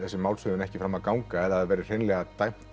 málshöfðun ekki fram að ganga eða það verði hreinlega dæmt